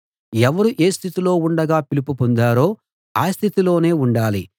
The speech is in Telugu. ఎవరు ఏ స్థితిలో ఉండగా పిలుపు పొందారో ఆ స్థితిలోనే ఉండాలి